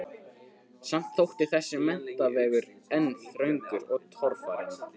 Samt þótti þessi menntavegur enn þröngur og torfarinn.